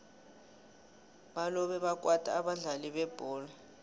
balobe bakwata abadlali bebholo